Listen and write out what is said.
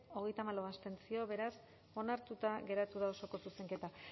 treinta y cuatro contra beraz onartuta geratu da osoko zuzenketa